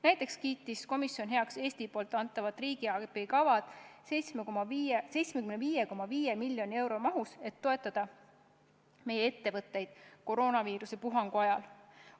Näiteks kiitis komisjon heaks Eesti antava riigiabi kavad 75,5 miljoni euro mahus, et toetada meie ettevõtteid koroonaviiruse puhangu ajal.